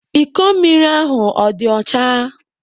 Iko mmiri ahụ ọ dị ọcha?